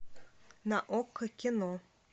на окко кино